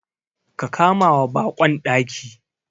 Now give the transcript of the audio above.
Ka kamawa baƙon daki.